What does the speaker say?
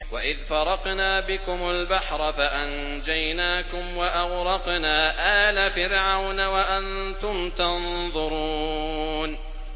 وَإِذْ فَرَقْنَا بِكُمُ الْبَحْرَ فَأَنجَيْنَاكُمْ وَأَغْرَقْنَا آلَ فِرْعَوْنَ وَأَنتُمْ تَنظُرُونَ